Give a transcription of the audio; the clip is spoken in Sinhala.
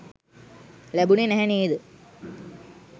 ලැබුණේ නැහැ නේද?